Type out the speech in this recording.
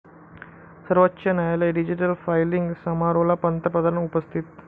सर्वोच्च न्यायालय digital filing समारोहाला पंतप्रधान उपस्थित